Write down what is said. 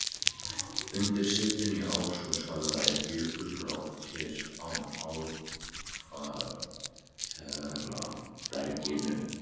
Undir setinu í Ártúnshöfða eru jökulrákir á ár-kvartera berginu.